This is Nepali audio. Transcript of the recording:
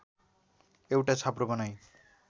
एउटा छाप्रो बनाई